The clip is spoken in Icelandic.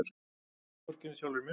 Vorkenni sjálfri mér.